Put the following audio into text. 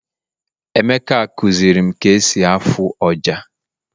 emeka kuzirim ka esi afụ ọjà